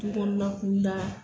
Tu kɔnɔ na kun da.